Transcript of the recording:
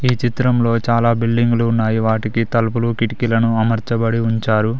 ఈ చిత్రంలో చాలా బిల్డింగులు ఉన్నాయి వాటికి తలుపులు కిటికీలను అమర్చబడి ఉంచారు.